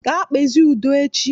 Gaa kpezie udo echi!